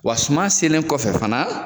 Wa suman selen kɔfɛ fana.